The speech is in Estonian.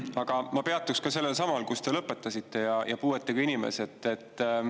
Aga ma peatuks sellelsamal, kus te lõpetasite, ehk puuetega inimestel.